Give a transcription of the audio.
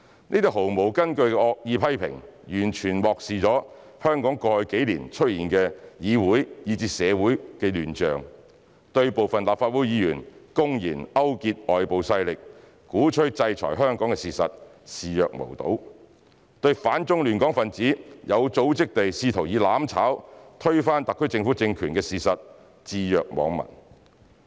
這些毫無根據的惡意批評完全漠視香港過去幾年出現的議會以至社會亂象；對部分立法會議員公然勾結外部勢力，鼓吹制裁香港的事實視若無睹；對反中亂港分子有組織地企圖以"攬炒"推翻特區政權的事實置若罔聞。